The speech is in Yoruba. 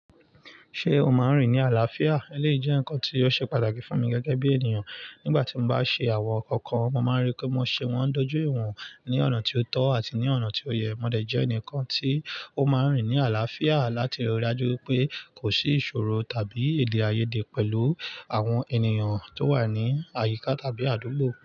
Ṣé o máa ń rìn ní àlàáfíà? Eléyìí jẹ́ nǹkan tí ó ṣe pàtàkì fún mi gẹ́gẹ́ bí ènìyàn. Nígbà tí mo bá ṣe àwọn ǹnkan kan, mo máa n ríi pé mo ṣe wọ́n dójú ìwọ̀n ní ọ̀nà tí ó tọ́ àti ní ọ̀nà tí ó yẹ. Mọ dẹ̀ jẹ́ ẹnìkan tí ó máa ń rìn ní àlàáfíà láti rí i dájú wipé kò sí ìṣòro tàbí èdè-áiyedé pẹ̀lú àwọn ènìyàn tó wà ní àyíká tàbí àdúgbò.